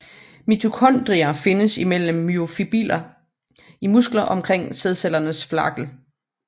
Mitokondrier findes imellem myofibriller i muskler og omkring sædcellers flagel